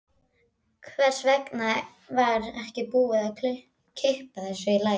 Hvers vegna var ekki búið að kippa þessu í lag?